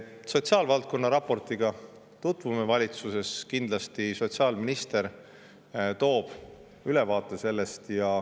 Sotsiaalvaldkonna raportiga tutvume valitsuses kindlasti, sotsiaalminister teeb sellest ülevaate.